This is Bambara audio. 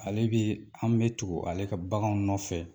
Ale bɛ an bɛ tugu ale ka baganw nɔfɛ